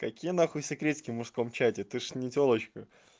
какие нахуй секретики в мужском чате ты же не тёлочка